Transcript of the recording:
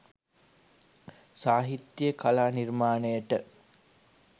සාහිත්‍ය කලා නිර්මාණයට